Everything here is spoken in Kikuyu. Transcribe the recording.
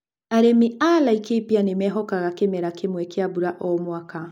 Arĩmi a Laikipia nĩ mehokaga kĩmera kĩmwe kĩa mbura o-mwaka.